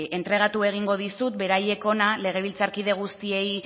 entregatu egingo dizut beraiek hona legebiltzarkide guztiei